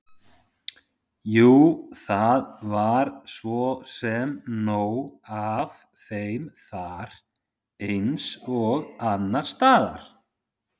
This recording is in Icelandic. Jú, það var svo sem nóg af þeim þar eins og annars staðar.